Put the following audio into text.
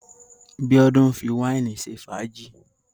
Bíọ́dún ń fi wàínì ṣe fàájì.